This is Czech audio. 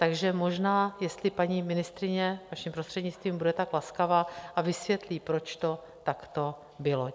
Takže možná, jestli paní ministryně, vaším prostřednictvím, bude tak laskava, a vysvětlí, proč to takto bylo.